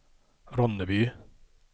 Ronneby